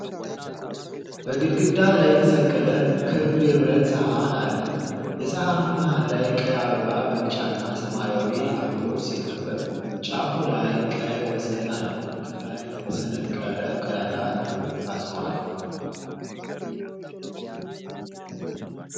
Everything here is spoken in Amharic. በግድግዳ ላይ የተሰቀለ ክብ የብረት ሰሃን አለ። የሰሃኑ መሃል ላይ ቀይ አበባ በቢጫና ሰማያዊ አበቦች ሲከበብ፣ ጫፉ ላይ ቀይ ወሰን አለው። ከላይ በተሰነቀረ ቀዳዳ ገመድ ታስሯል።